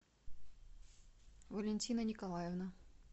валентина николаевна